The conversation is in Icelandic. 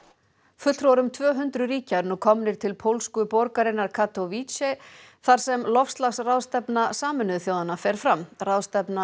fulltrúar um tvö hundruð ríkja eru nú komnir til pólsku borgarinnar Katowice þar sem loftslagsráðstefna Sameinuðu þjóðanna fer fram ráðstefnur